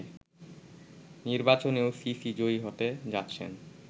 নির্বাচনেও সিসি জয়ী হতে যাচ্ছেন